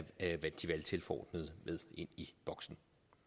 de valgtilforordnede med ind i boksen